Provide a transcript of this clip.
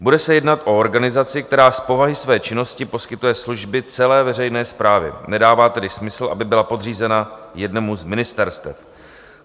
Bude se jednat o organizaci, která z povahy své činnosti poskytuje služby celé veřejné správě, nedává tedy smysl, aby byla podřízena jednomu z ministerstev.